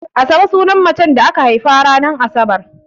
Asabe sunan macen da aka haifa ranar Asabar.